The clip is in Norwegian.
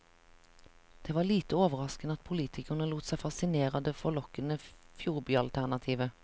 Det var lite overraskende at politikerne lot seg fascinere av det forlokkende fjordbyalternativet.